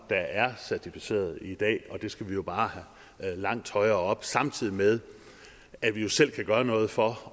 der er certificeret i dag og det skal vi jo bare have langt højere op samtidig med at vi selv kan gøre noget for